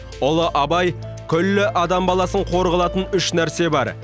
ұлы абай күллі адам баласын қор қылатын үш нәрсе бар